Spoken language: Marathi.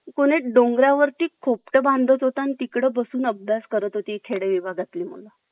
कोणि डोंगरा वरती खोपट बांधत होता तिकडे बसून अभ्यास करत होते ही खेड विभागातले मुलं